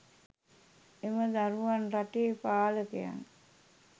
එම දරුවන් රටේ පාලකයන්